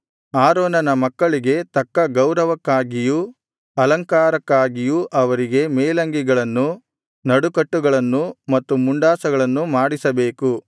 ಆರೋನನ ಮಕ್ಕಳಿಗೆ ತಕ್ಕ ಗೌರವಕ್ಕಾಗಿಯೂ ಅಲಂಕಾರಕ್ಕಾಗಿಯೂ ಅವರಿಗೆ ಮೇಲಂಗಿಗಳನ್ನು ನಡುಕಟ್ಟುಗಳನ್ನು ಮತ್ತು ಮುಂಡಾಸಗಳನ್ನು ಮಾಡಿಸಬೇಕು